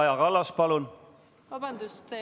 Vabandust!